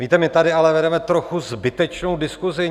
Víte, my tady ale vedeme trochu zbytečnou diskusi.